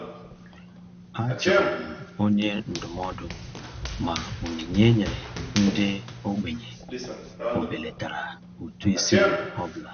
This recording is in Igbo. A jụrụ m onye ndụmọdụ ma onyinye e nyere ndị ogbenye ọbelatara ụtụisi m ọ bụla.